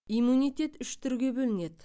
иммунитет үш түрге бөлінеді